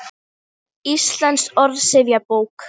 Íslensk orðsifjabók.